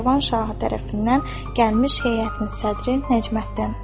Şirvan şahı tərəfindən gəlmiş heyətin sədri Nəcməddin.